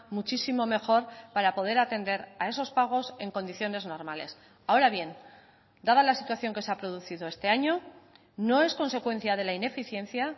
muchísimo mejor para poder atender a esos pagos en condiciones normales ahora bien dada la situación que se ha producido este año no es consecuencia de la ineficiencia